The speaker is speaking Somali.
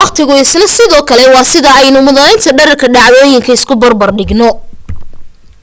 waqtigu isna sidoo kale waa sida aynu muddaynta dhererka dhacdooyinka isu barbar dhigno